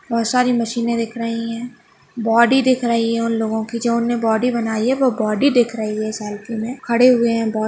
बहुत सारी मशीने दिख रही हैं बॉडी दिख रही हैं उन लोगो की जो उनने बॉडी बनाई हैं वो बॉडी दिख रही हैं सेल्फी में खड़े हुए हैं बहुत--